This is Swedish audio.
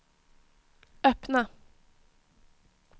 öppna